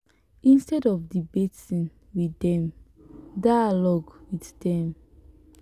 instead of debating with dem dialogue with them